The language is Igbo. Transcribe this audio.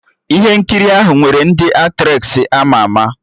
Ihe nkiri ahụ nwere ndị Aktressị ama ama